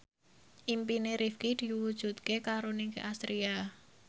impine Rifqi diwujudke karo Nicky Astria